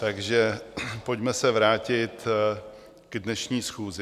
Takže pojďme se vrátit k dnešní schůzi.